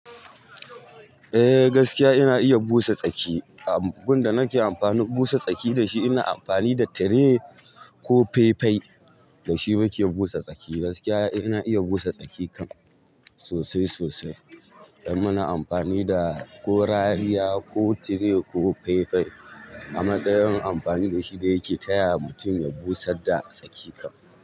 Eh gaskiya ina iya busa tsaki. Abin da nake amfani busa tsaki da shi ina amfani da tirai ko fai fai, da shi muke busa tsaki. Gaskiya ina iya busa tsaki kam sosai sosai idan muna amfani da ko rariya ko tirai ko fai fai. A matsayin amfani da shi da yake taya mutum ya busar da tsaki kam.